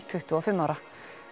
tuttugu og fimm ára